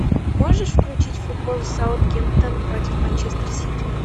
можешь включить футбол саутгемптон против манчестер сити